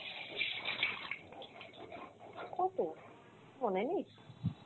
কতো! মনে নেই।